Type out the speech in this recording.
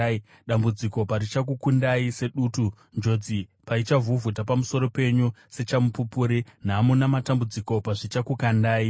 dambudziko parichakukundai sedutu, njodzi paichavhuvhuta pamusoro penyu sechamupupuri, nhamo namatambudziko pazvichakukundai.